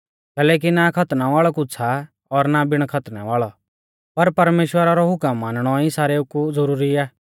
कैलैकि ना खतना वाल़ौ कुछ़ आ और ना बिणा खतनै वाल़ौ पर परमेश्‍वरा रौ हुकम मानणौ ई सारेऊ कु ज़ुरुरी आ